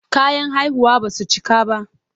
Kayan haihuwar ba su cika ba.